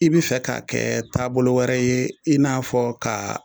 I bɛ fɛ k'a kɛ taabolo wɛrɛ ye i n'a fɔ ka